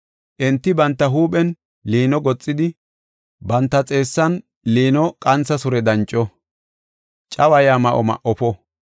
Enti banta huuphen liino goxidi; banta xeessan liino qantha sure danco; cawaya ma7o ma7ofo.